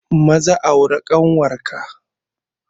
Maza aurar da ƙanwar ka!